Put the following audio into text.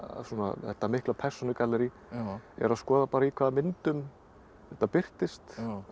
þetta mikla persónugallerí er að skoða bara í hvaða myndum þetta birtist